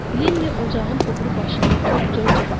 Linni ocağın o biri başında oturub Corca baxırdı.